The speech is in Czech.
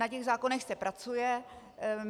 Na těch zákonech se pracuje.